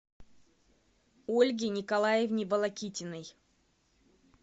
ольге николаевне волокитиной